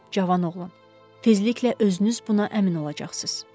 Cavan oğlan, tezliklə özünüz buna əmin olacaqsız.